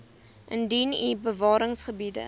indien u bewaringsgebiede